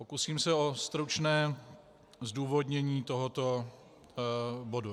Pokusím se o stručné zdůvodnění tohoto bodu.